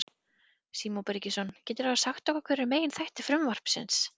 Símon Birgisson: Geturðu þá sagt okkur hver eru meginþættir frumvarpsins?